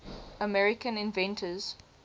american inventors